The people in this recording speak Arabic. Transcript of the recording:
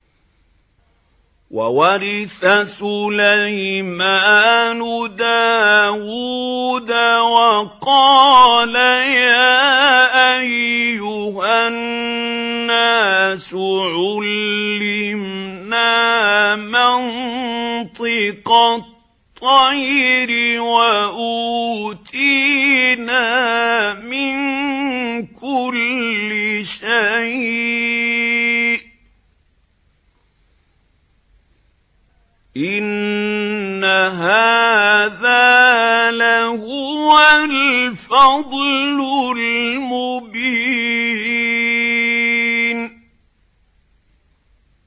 وَوَرِثَ سُلَيْمَانُ دَاوُودَ ۖ وَقَالَ يَا أَيُّهَا النَّاسُ عُلِّمْنَا مَنطِقَ الطَّيْرِ وَأُوتِينَا مِن كُلِّ شَيْءٍ ۖ إِنَّ هَٰذَا لَهُوَ الْفَضْلُ الْمُبِينُ